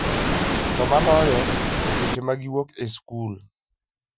To moloyo, e seche ma giwuok e skul.